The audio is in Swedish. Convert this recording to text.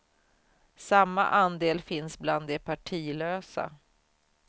Samma andel finns bland de partilösa.